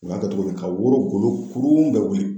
U b'a kɛ togo di ka woro golo kurun bɛɛ wuli